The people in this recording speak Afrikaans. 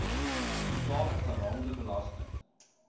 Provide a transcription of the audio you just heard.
totale geraamde belasting